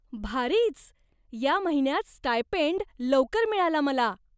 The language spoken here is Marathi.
भारीच! या महिन्यात स्टायपेंड लवकर मिळाला मला!